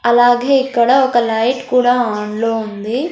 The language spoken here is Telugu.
అలాగే ఇక్కడ ఒక లైట్ కూడా ఆన్లో ఉంది.